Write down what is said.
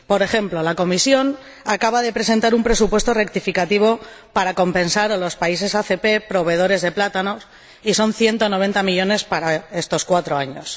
Por ejemplo, la Comisión acaba de presentar un presupuesto rectificativo para compensar a los países ACP proveedores de plátanos, y son 190 millones para estos cuatro años.